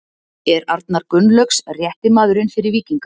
Er Arnar Gunnlaugs rétti maðurinn fyrir Víkinga?